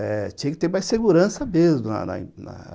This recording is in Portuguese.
Eh tinha que ter mais segurança mesmo na na na